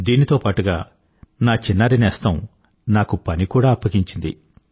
దీనితో పాటుగా నా చిన్నారి నేస్తం నాకు పని కూడా అప్పగించింది